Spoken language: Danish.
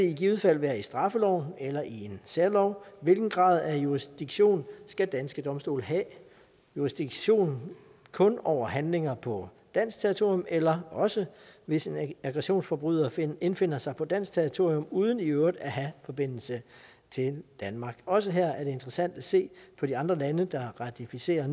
i givet fald være i straffeloven eller i en særlov hvilken grad af jurisdiktion skal danske domstole have jurisdiktion kun over handlinger på dansk territorium eller også hvis en aggressionsforbryder indfinder sig på dansk territorium uden i øvrigt at have forbindelse til danmark også her er det interessant at se på de andre lande der har ratificeret